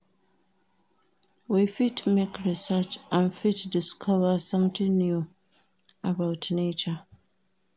We fit make research and fit discover something new about nature